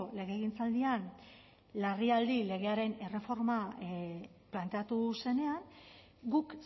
legegintzaldian larrialdi legearen erreforma planteatu zenean guk